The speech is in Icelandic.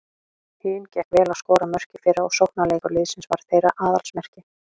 Huginn gekk vel að skora mörk í fyrra og sóknarleikur liðsins var þeirra aðalsmerki.